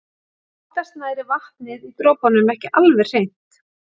Oftast nær er vatnið í dropunum ekki alveg hreint.